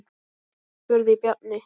spurði Bjarni.